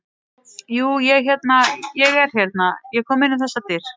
Jú, ég hérna. ég er hérna. ég kom inn um þessar dyr.